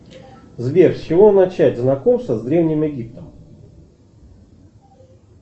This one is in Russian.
сбер с чего начать знакомство с древним египтом